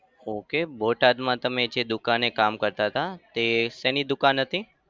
Okay બોટાદમાં તમે જે દુકાને કામ કરતા હતા તે શેની દુકાન હતી?